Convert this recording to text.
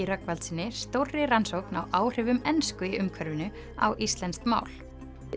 Rögnvaldssyni stórri rannsókn á áhrifum ensku á íslenskt mál